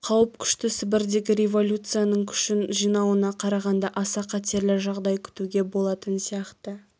қауіп күшті сібірдегі революцияның күшін жинауына қарағанда аса қатерлі жағдай күтуге болатын сияқты